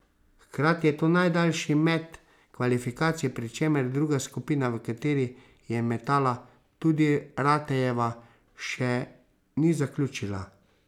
Hkrati je to najdaljši met kvalifikacij, pri čemer druga skupina, v kateri je metala tudi Ratejeva, še ni zaključila.